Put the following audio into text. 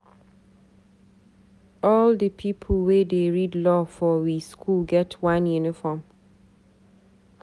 All di pipu wey dey read Law for we skool get one uniform.